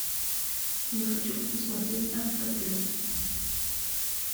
я хочу посмотреть авто плюс